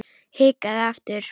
Hikaði aftur.